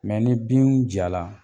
Mɛ ni bin ja la